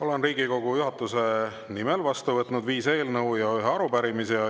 Olen Riigikogu juhatuse nimel vastu võtnud viis eelnõu ja ühe arupärimise.